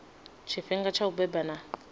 tshifhinga tsha u beba na